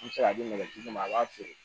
N bɛ se ka di nɛgɛjigi ma a b'a feere